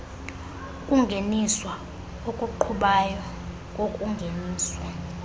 ukungeniswa okuqhubayo kokungeniswa